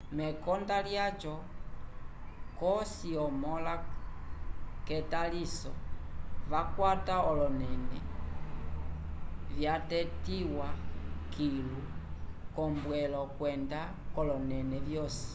mekonda lyaco cosi omõla k'etaliso yakwata olonẽle vyatetiwa kilu k'ombwelo kwenda k'olonẽle vyosi